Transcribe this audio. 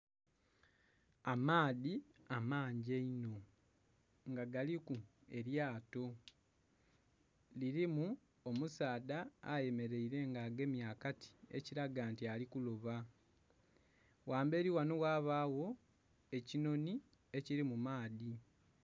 Amaadhi amangi einho nga galiku elyato mulimu omusaadha ayemeleire nga agemye akati ekilaga nti ali kuloba, ghambeli ghano ghabagho ekinoni ekiri mu maadhi.